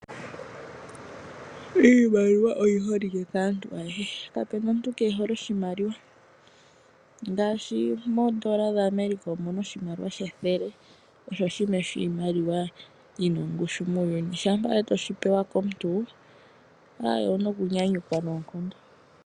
Iimaliwa oyi holike kaantu ayehe kapena omuntu kehole oshimaliwa ngaashi moondola dha America Omuna oshimaliwa shethele osho shimwe shiimaliwa yina ongushu muuyuni shampa owala weshipewa komuntu owuna oku nyanyukwa noonkondo